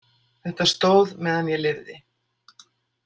Þetta stóð meðan ég lifði.